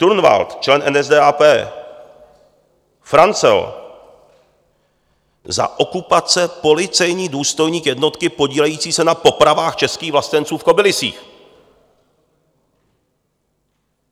Turnwald, člen NSDAP Franzel, za okupace policejní důstojník jednotky podílející se na popravách českých vlastenců v Kobylisích!